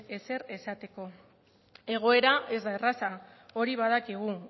ezer esateko egoera ez da erraza hori badakigu